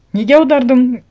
неге аудардым